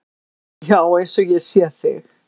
Já, eins og ég sé þig.